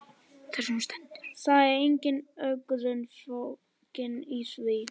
Það er engin ögrun fólgin í því.